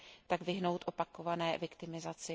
tak vyhnout opakované viktimizaci.